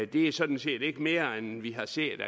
det er sådan set ikke mere end vi har set